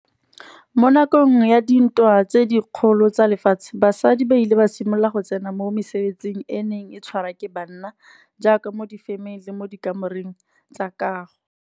Mo nakong ya dintwa tse dikgolo tsa lefatshe, basadi ba ile ba simolola go tsena mo mesebetsing e neng e tshwarwa ke banna, jaaka mo di-ferm-eng le mo di kamoreng tsa kago.